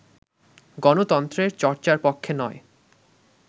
গণতন্ত্রের চর্চার পক্ষে নয়